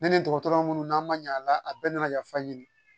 Ne ni dɔgɔtɔrɔ munnu n'an ma ɲɛ a la a bɛɛ nana yafa ɲini